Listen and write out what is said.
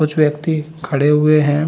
कुछ व्यक्ति खड़े हुए है।